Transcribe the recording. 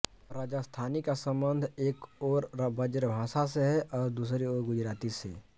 राजस्थानी का संबंध एक ओर ब्रजभाषा से है और दूसरी ओर गुजराती से